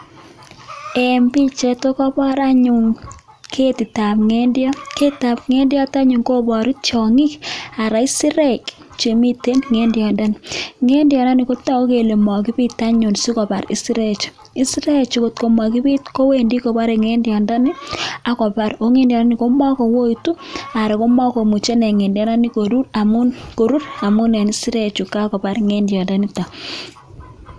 Eng bik chetokobor anyun ketitab ngendiot. ketitab ngendiot anyun koboru tiongik anan isirek chemiten ngendyondoni, ngendyondoni kotoku kole makibit anyun sikotar isirechu. Isirechu ngotko makibit kowendi kobore ngendyondoni akobar kongendyondoni komac kouitu anan komemuchi inee ngendiondoni korur amu eng isirechu kakobar ngendyondonitok.